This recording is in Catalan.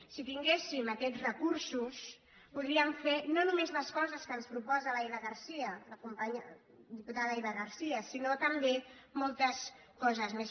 si tinguéssim aquests recursos podríem fer no només les coses que ens proposa l’eva garcía la companya diputada eva garcía sinó també moltes coses més